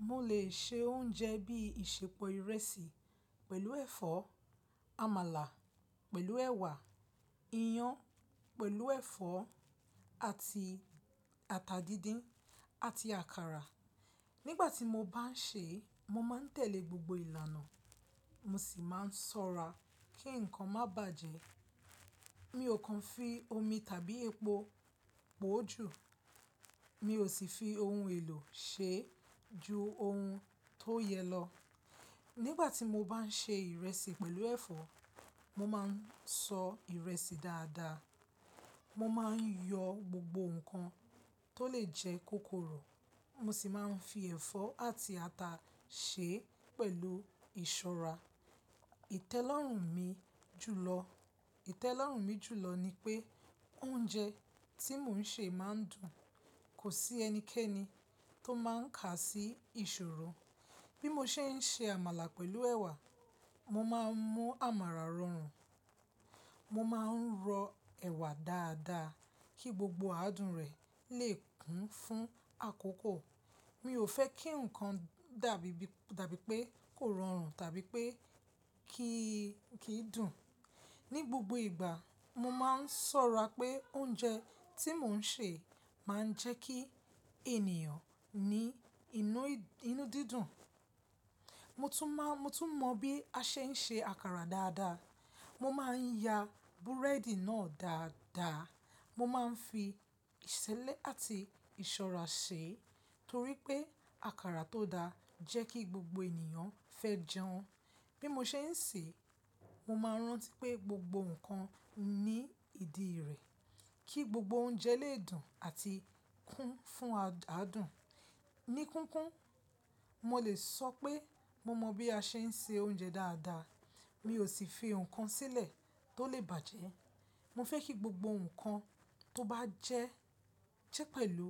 Mo lè ṣe oúnjẹ bí ìsèpọ̀ ìrẹsì pẹ̀lú ẹ̀fọ́, àmàlà pẹ̀lú ẹ̀wà, iyán pẹ̀lú ẹ̀fọ́ àti ata díndín àti àkàrà. Nígbà tí mo bá ń ṣè é, mo máa ń tẹ̀lé gbogbo ìlànà, mo sì máa ń ṣọ́ra kí nǹkan má bàjẹ́. Mi ò kan fi omi tàbí epo pò ó jù, mi ò sì fi ohun èlò ṣe ju ohun tó yẹ lọ. Nígbà tí mo bá ń ṣe ìrẹsì pẹ̀lú ẹ̀fọ́, mo máa ń san ìrẹsì dáadáa, mo máa ń yọ gbogbo nǹkan tó lè jẹ́ kòkòrò, mo sì máa ń fi ẹ̀fọ́ àti ata ṣe pẹ̀lú ìṣọ́ra. Ìtẹ́lọ́rùn mi jùlọ, ìtẹ́lọ́rùn mi jùlọ ni pé oúnjẹ tí mò ń ṣe máa ń dùn, kò sí ẹnikẹ́ni tó máa ń kà sí ìṣòro. Bí mo ṣe ń ṣe àmàlà pẹ̀lú ẹ̀wà, mo máa ń mú àmàlà rọrùn, mo máa ń rọ ẹ̀wà dáadáa kí gbogbo adùn rẹ̀ lè kún fún àkókò. Mi ò fẹ́ kí nǹkan dàbí bí, dàbí pé kò rọrùn tàbí pé kì í, kì í dùn. Ní gbogbo ìgbà, mo máa ń ṣọ́ra pé oúnjẹ tí mò ń ṣe máa ń jẹ́ kí ènìyàn ní inú, inú dídùn. Mo tún mọ, mo tún mọ bí a ṣe ń ṣe àkàrà dáadáa. Mo máa ń ya búrẹ́dì náà dáadáa, mo máa ń fi ìṣélé àti ìṣọ́ra ṣe torí pé àkàrà tó dáa jẹ́ kí gbogbo ènìyàn fẹ́ jẹun. Bí mo ṣe ń ṣè é, mo máa ń rántí pé gbogbo nǹkan ní ìdí rẹ̀, kí gbogbo oúnjẹ lè dùn àti kún fún adùn. Ní kíkún, mo lè sọ pé mo mọ bí a ṣe ń se oúnjẹ dáadáa, mi ò sì fi nǹkan sílẹ̀ tó lè bàjẹ́. Mo fẹ́ kí gbogbo nǹkan tó bá jẹ́ jẹ́ pẹ̀lú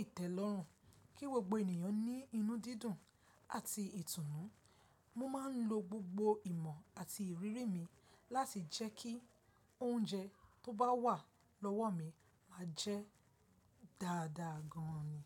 ìtẹ́lọ́rùn kí gbogbo ènìyàn ní inú dídùn àti ìtùnú. Mo máa ń lo gbogbo ìmọ̀ àti ìrírí mi láti jẹ́ kí oúnjẹ tó bá wà lọ́wọ́ mi máa jẹ́ dáadáa gan an ni.